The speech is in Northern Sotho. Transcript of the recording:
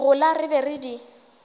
gola re be re di